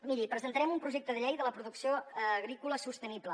miri presentarem un projecte de llei de la producció agrícola sostenible